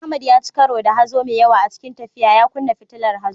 Ahmad ya ci karo da hazo mai yawa a cikin tafiya, ya kunna fitilar hazo.